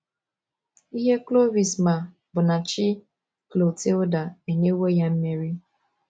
Ihe Clovis ma bụ na Chi Clotilda enyewo ya mmeri.